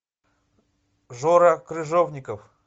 жора крыжовников